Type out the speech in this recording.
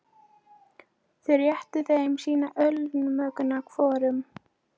Þau réttu þeim sína ölkönnuna hvorum.